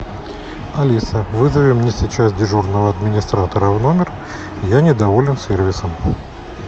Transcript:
алиса вызови мне сейчас дежурного администратора в номер я недоволен сервисом